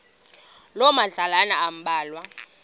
loo madlalana ambalwa